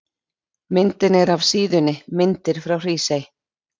Myndin er af síðunni Myndir frá Hrísey.